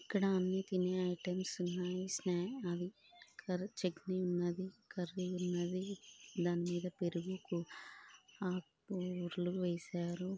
ఇక్కడ అన్ని తినే ఐటమ్స్ ఉన్నాయి.స్నాక్స్ చట్నీ ఉన్నది.కర్రీ ఉన్నది. దాని మీద పెరుగు ఆకు కూరలు వేశారు.